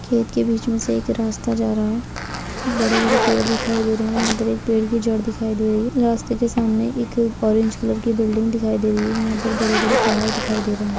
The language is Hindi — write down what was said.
खेत के बीच मे से एक रास्ता जा रहा है | बड़े बड़े पेड़ दिखाई दे रहे हैं | यहाँ पर एक पेड़ की जड़ दिखाई दे रही है | रास्ते के सामने एक ऑरेंज कलर की बिल्डिंग दिखाई दे रही है यहाँ पर बड़े बड़े पहाड़ दिखाई दे रहे हैं ।